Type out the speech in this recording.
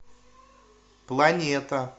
планета